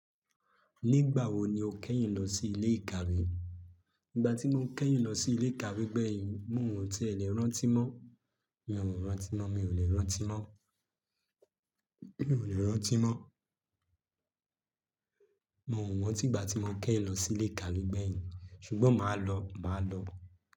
Nígbà wo ni o kẹ́yìn lọ sí ilé ìkàwé? Ígbà tí mo kẹ́yìn lọ sí ilé ìkàwé gbẹ̀yìn, mo ọ̀ ti è lẹ rántí mọ́. Mi ò rántí mọ́. Mi ò lè rántí mọ́. Mi ò lè rántí mọ́. Mo rántí ìgbà tí mo kẹ́yìn lọ sí ilé ìkàwé gbẹ̀yìn. Ṣùgbọ́n màá lọ, màá lọ.